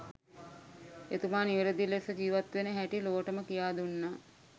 එතුමා නිවැරදි ලෙස ජීවත් වෙන හැටි ලොවටම කියා දුන්නා